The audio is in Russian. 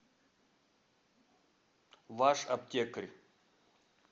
ваш аптекарь